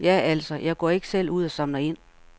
Ja altså, jeg går ikke selv ud og samler ind.